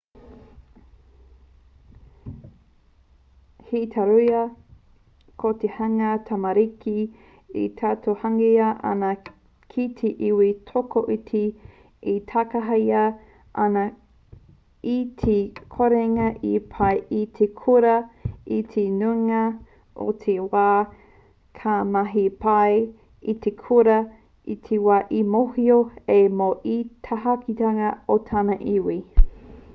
hei tauira ko te hunga tamariki e tautohungia ana ki te iwi tokoiti e takahia ana i te korenga i pai i te kura i te nuinga o te wā ka mahi pai i te kura i te wā e mōhio ai mō te takahitanga o tana iwi